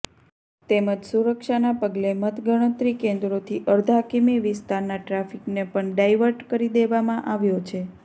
તેમજ સુરક્ષાના પગલે મતગણતરી કેન્દ્રોથી અડધા કિમી વિસ્તારના ટ્રાફિકને પણ ડાઈવર્ટ કરી દેવામાં આવ્યો છે